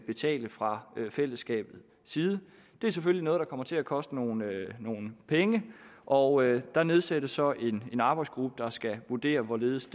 betale fra fællesskabets side det er selvfølgelig noget der kommer til at koste nogle penge og der nedsættes så en arbejdsgruppe der skal vurdere hvorledes